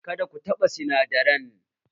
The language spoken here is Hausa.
Kada ku taɓa sinadaran!